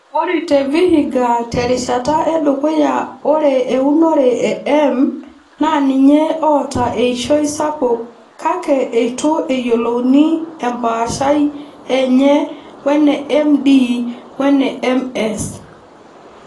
Ore te Vihiga te rishata edukuya ore eunore e M naa ninye oota eishoi sapuk kake eitu eyiolouni empaashai enye wene MD wene MS.